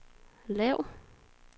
lav